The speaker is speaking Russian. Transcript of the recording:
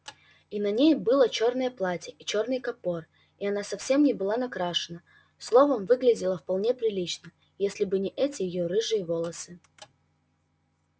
и на ней было чёрное платье и чёрный капор и она совсем не была накрашена словом выглядела вполне прилично если бы не эти её рыжие волосы